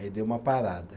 Aí dei uma parada.